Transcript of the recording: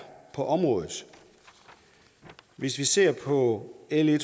på området hvis vi ser på l en